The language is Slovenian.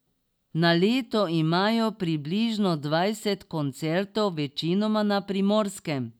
Na leto imajo približno dvajset koncertov, večinoma na Primorskem.